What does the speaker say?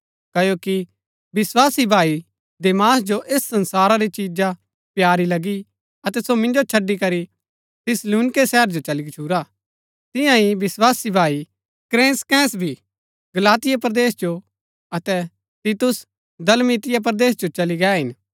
क्ओकि विस्वासी भाई देमास जो ऐस संसारा री चिजा प्यारी लगी अतै सो मिन्जो छड़ी करी थिस्सलुनीके शहर जो चली गछूरा तिन्या ही विस्वासी भाई क्रैसकैंस भी गलातिआ परदेस जो अतै तीतुस दलमतिआ परदेस जो चली गै हिन